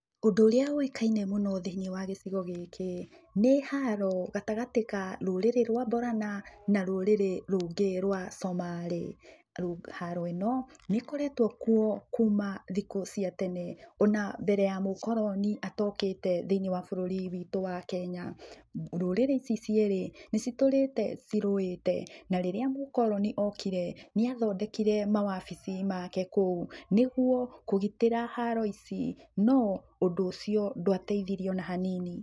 Ũndũ ũrĩa ũĩkaine mũno thĩiniĩ wa gicigo gĩkĩ, nĩ haro gatagatĩ ka rũrĩrĩ rũa Borana na rũrĩrĩ rũngĩ rũa comarĩ. Haro ĩno nĩĩkoretũo kuo kuma thikũ cia tene. Ona mbere ya mũkoloni atokĩte thĩiniĩ wa bũrũri witũ wa Kenya. Ndũrĩrĩ ici cierĩ, nĩcitũrĩte cĩrũwĩte. Na rĩrĩa mũkoloni okire, nĩ athondekire mawafici make kũu. Nĩ guo kũgitĩra haro ici, no ũndũ ũcio ndũateithirie ona hanini.